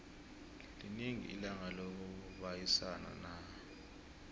linini ilanga lokubayisana na